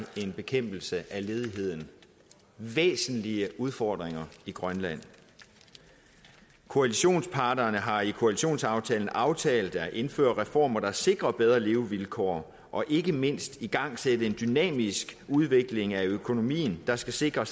en bekæmpelse af ledigheden væsentlige udfordringer i grønland koalitionsparterne har i koalitionsaftalen aftalt at indføre reformer der sikrer bedre levevilkår og ikke mindst at igangsætte en dynamisk udvikling af økonomien der skal sikre